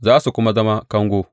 Za su kuma zama kango.